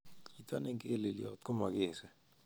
Chi negelelyot komokese